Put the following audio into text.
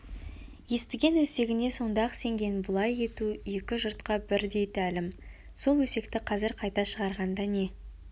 естіген өсегіне сонда-ақ сенген бұлай ету екі жұртқа бірдей тәлім сол өсекті қазір қайта шығарғанда не